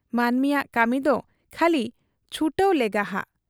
ᱢᱟᱱᱢᱤᱭᱟᱜ ᱠᱟᱹᱢᱤᱫᱚ ᱠᱷᱟᱹᱞᱤ ᱪᱷᱩᱴᱟᱹᱣ ᱞᱮᱜᱟᱦᱟᱜ ᱾